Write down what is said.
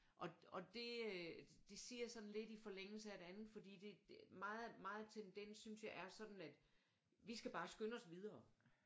Og det øh det siger jeg sådan lidt i forlængelse af det andet fordi det meget tendens synes jeg er sådan at vi skal bare skynde os videre